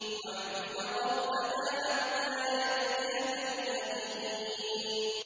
وَاعْبُدْ رَبَّكَ حَتَّىٰ يَأْتِيَكَ الْيَقِينُ